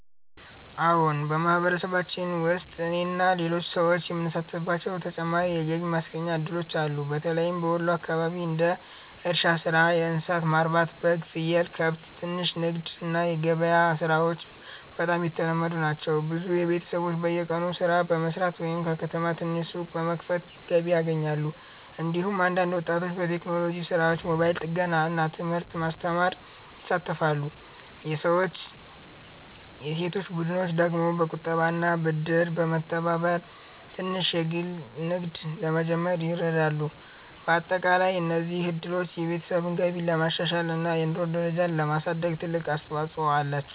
አዎን፣ በማህበረሰባችን ውስጥ እኔና ሌሎች ሰዎች የምንሳተፍባቸው ተጨማሪ የገቢ ማስገኛ እድሎች አሉ። በተለይም በወሎ አካባቢ እንደ እርሻ ሥራ፣ እንስሳት ማርባት (በግ፣ ፍየል፣ ከብት)፣ ትንሽ ንግድ እና ገበያ ሥራዎች በጣም የተለመዱ ናቸው። ብዙ ቤተሰቦች በቀን ሥራ በመስራት ወይም በከተማ ትንሽ ሱቅ በመክፈት ገቢ ያገኛሉ። እንዲሁም አንዳንድ ወጣቶች በቴክኖሎጂ ሥራዎች፣ ሞባይል ጥገና እና ትምህርት ማስተማር ይሳተፋሉ። የሴቶች ቡድኖች ደግሞ በቁጠባና ብድር በመተባበር ትንሽ ንግድ ለመጀመር ይረዳሉ። በአጠቃላይ እነዚህ እድሎች የቤተሰብ ገቢን ለማሻሻል እና የኑሮ ደረጃን ለማሳደግ ትልቅ አስተዋፅኦ አላቸው።